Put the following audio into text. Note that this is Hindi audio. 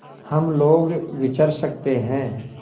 हम लोग विचर सकते हैं